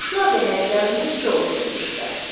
Qonşular da həyətlərində sıçovul görmüşdülər.